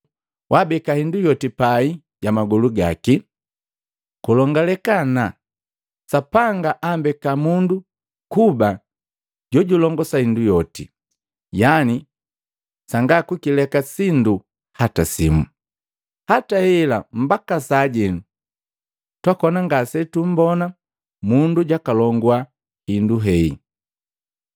wabeka hindu yoti pai ja magolu gaki.” Kulongaleka ana, Sapanga ambeka mundu kuba jojulongosa hindu yoti, yani sanga kukileka sindu hata simu. Hata hela mbaka sajenu, twakona ngasetumbona mundu jwakalongua hindu hei.